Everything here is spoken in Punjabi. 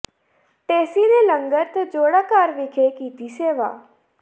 ਢੇਸੀ ਨੇ ਲੰਗਰ ਤੇ ਜੋੜਾ ਘਰ ਵਿਖੇ ਕੀਤੀ ਸੇਵਾ